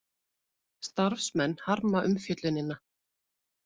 Starfsmenn harma umfjöllunina